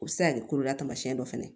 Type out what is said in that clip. O bɛ se ka kɛ kololamasiyɛn dɔ fana ye